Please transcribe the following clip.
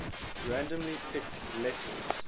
randomly picked letters